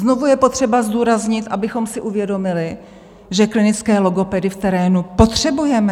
Znovu je potřeba zdůraznit, abychom si uvědomili, že klinické logopedy v terénu potřebujeme.